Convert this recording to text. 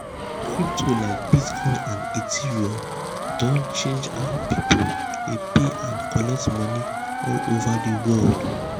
crypto like bitcoin and ethereum don change how people dey pay and collect money all over the world.